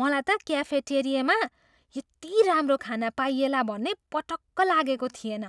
मलाई त क्याफेटेरियामा यति राम्रो खाना पाइएला भन्ने पटक्क लागेको थिएन।